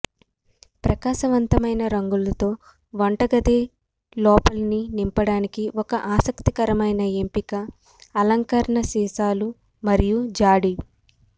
ప్రకాశవంతమైన రంగులతో వంటగది లోపలిని నింపడానికి ఒక ఆసక్తికరమైన ఎంపిక అలంకరణ సీసాలు మరియు జాడి